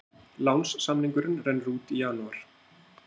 Lánssamningurinn rennur út í janúar